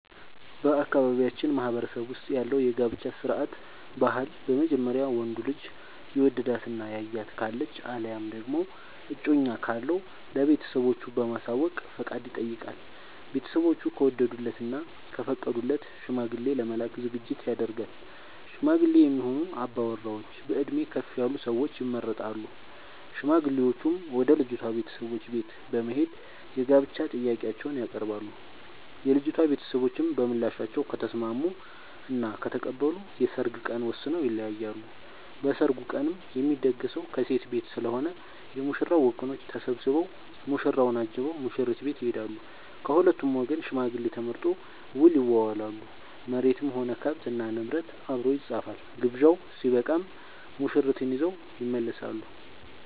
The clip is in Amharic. በአካባቢያችን ማህበረሰብ ውስጥ ያለው የጋብቻ ስርዓት/ ባህል በመጀመሪያ ወንዱ ልጅ የወደዳት እና ያያት ካለች አለያም ደግሞ እጮኛ ካለው ለቤተሰቦቹ በማሳወቅ ፍቃድ ይጠይቃል። ቤተስቦቹ ከወደዱለት እና ከፈቀዱለት ሽማግሌ ለመላክ ዝግጅት ይደረጋል። ሽማግሌ የሚሆኑ አባወራዎች በእድሜ ከፍ ያሉ ሰዎች ይመረጣሉ። ሽማግሌዎቹም ወደ ልጅቷ ቤተሰቦች በት በመሄድ የጋብቻ ጥያቄአቸውን ያቀርባሉ። የልጂቷ ቤተሰቦችም በምላሻቸው ከተስምስሙ እና ከተቀበሉ የሰርግ ቀን ወስነው ይለያያሉ። በሰርጉ ቀንም የሚደገሰው ከሴት ቤት ስለሆነ የ ሙሽራው ወገኖች ተሰብስቧ ሙሽራውን አጅበው ሙሽሪት ቤት ይሄዳሉ። ከሁለቱም ወገን ሽማግሌ ተመርጦ ውል ይዋዋላሉ መሬትም ሆነ ከብት እና ንብረት አብሮ ይፃፋል። ግብዣው ስበቃም ሙሽርትን ይዘው ይመለሳሉ።